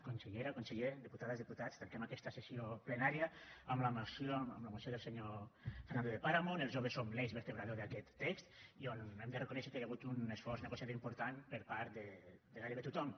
consellera conseller diputades diputats tanquem aquesta sessió plenària amb la moció del senyor fernando de páramo on els joves som l’eix vertebrador d’aquest text i on hem de reconèixer que hi ha hagut un esforç negociador important per part de gairebé tothom